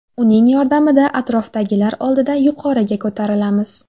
Uning yordamida atrofdagilar oldida yuqoriga ko‘tarilamiz” .